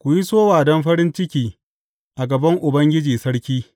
ku yi sowa don farin ciki a gaban Ubangiji, Sarki.